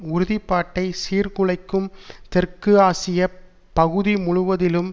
உறுதி பாட்டை சீர்குலைக்கும் தெற்கு ஆசிய பகுதி முழுவதிலும்